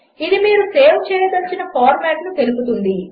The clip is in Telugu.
ఇది మీరు సేవ్ చేయదలచిన ఫార్మాట్ను తెలుపుతుంది